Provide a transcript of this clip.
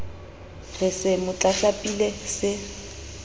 re se mo tlatlapile se